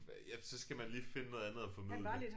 Ja så skal man lige finde noget andet at formidle